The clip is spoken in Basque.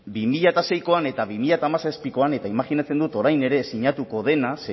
bi mila seikoan eta bi mila hamazazpikoan eta imajinatzen dut orain ere sinatuko dena